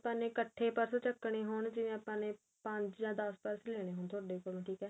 ਆਪਾਂ ਨੇ ਇੱਕਠੇ purse ਚਕਣੇ ਹੋਣ ਜਿਵੇਂ ਆਪਾਂ ਨੇ ਪੰਜ ਜਾਂ ਦੱਸ purse ਲੈਣੇ ਹੋਣ ਤੁਹਾਡੇ ਕੋਲੋ ਠੀਕ ਏ